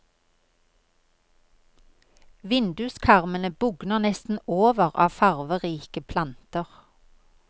Vinduskarmene bugner nesten over av farverike planter.